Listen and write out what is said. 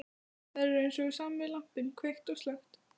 Þær eru eins og sami lampinn, kveikt og slökkt.